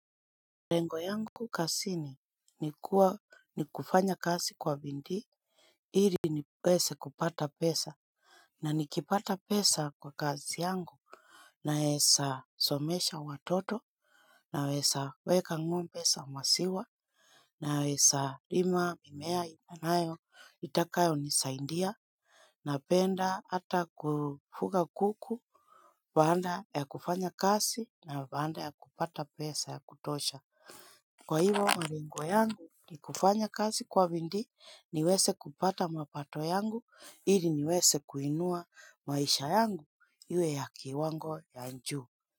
Lengo yangu kazini ni kufanya kwa bidii ili niweze kupata pesa. Na nikipata pesa kwa kazi yangu naesa somesha watoto. Nawesa weka ngombe za maziwa. Naesa lima mimea inanayo itakayo ni saindia. Napenda ata kufuga kuku. Vanda ya kufanya kasi na vanda ya kupata pesa ya kutosha. Kwa hivo maringwa yangu ni kufanya kazi kwa vindi niweze kupata mapato yangu ili niweze kuinua maisha yangu iwe ya kiwango ya juu.